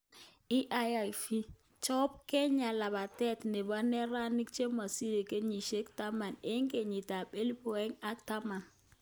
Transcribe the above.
IAAF:Chobe Kenya labatet nebo neranik chemesiri kenyisyek tiptem eng kenyit ab elibu aeng ak tiptem